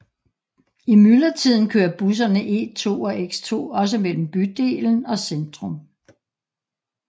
I myldretiden kører busserne E2 og X2 også mellem bydelen og centrum